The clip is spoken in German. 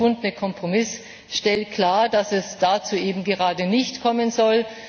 Der gefundene Kompromiss stellt klar, dass es dazu gerade nicht kommen soll.